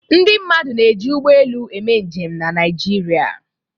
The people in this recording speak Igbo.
Ndị mmadụ na-eji ụgbọelu eme njem na Naịjirịa.